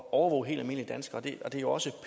at overvåge helt almindelige danskere det er jo også